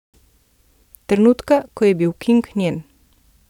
Trenutka, ko je bil King njen.